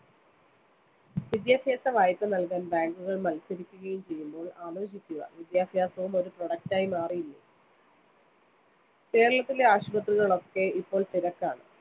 വിദ്യാഭ്യാസ വായ്‌പ നൽകാൻ bank കൾ മൽസരിക്കുകയും ചെയ്യുമ്പോൾ ആലോചിക്കുക വിദ്യാഭ്യാസവും ഒരു product ആയി മാറി. കേരളത്തിലെ ആശുപത്രികളൊക്കെ ഇപ്പോൾ തിരക്കാണ്‌.